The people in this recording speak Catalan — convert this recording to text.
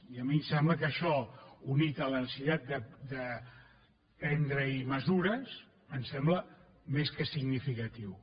i a mi em sembla que això unit a la necessitat de prendre hi mesures em sembla més que significatiu